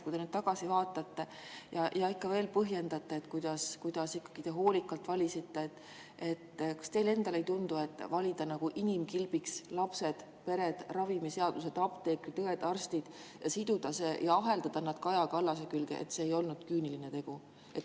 Kui te nüüd tagasi vaatate ja põhjendate, kuidas te hoolikalt valisite, kas teile endale ei tundu, et valida inimkilbiks lapsed, pered, ravimiseaduse, apteekrid, õed-arstid ja aheldada nad Kaja Kallase külge, kas see ei olnud küüniline tegu?